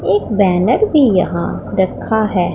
एक बैनर भी यहां रखा है।